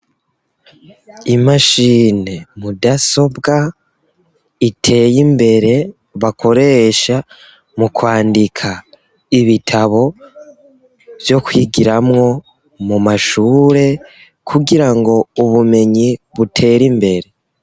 Imashine mudasobwa, iteye imbere, bakoresha mu kwandika ibitabo vyo kwigiramwo mu mashure, kugirango ubumenyi butere imbere.